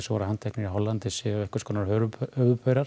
voru handteknir í Hollandi séu einhvers konar